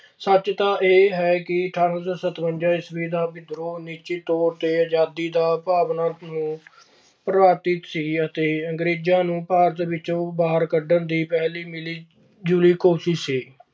ਸੱਚ ਦਾ ਇਹ ਹੈ ਕਿ ਅਠਾਰਾਂ ਸੌ ਸਤਵੰਜਾ ਈਸਵੀ ਦਾ ਵਿਦਰੋਹ ਨਿਸ਼ਚਿਤ ਤੌਰ ਤੇ ਆਜ਼ਦੀ ਦੀ ਭਾਵਨਾ ਨੂੰ ਸੀ ਅਤੇ ਅੰਗਰੇਜ਼ਾਂ ਨੂੰ ਭਾਰਤ ਵਿੱਚ ਬਾਹਰ ਕੱਢਣ ਲਈ ਪਹਿਲੀ ਮਿਲੀਜੁਲੀ ਕੋਸ਼ਿਸ਼ ਸੀ।